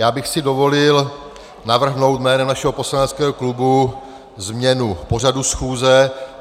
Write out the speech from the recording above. Já bych si dovolil navrhnout jménem našeho poslaneckého klubu změnu pořadu schůze.